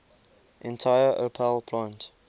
entire opel plant